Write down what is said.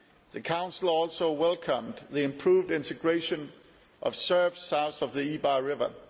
The Council also welcomed the improved integration of Serbs south of the Ibar River.